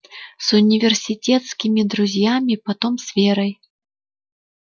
с университетскими друзьями потом с верой